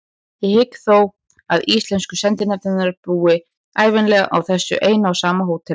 Ég hygg þó að íslensku sendinefndirnar búi ævinlega á þessu eina og sama hóteli.